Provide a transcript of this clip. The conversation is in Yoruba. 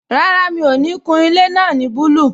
Rárá, mi ò ní kun ilé náà ní búlù